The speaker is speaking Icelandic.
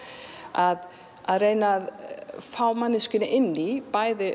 að að reyna að fá manneskjuna inn í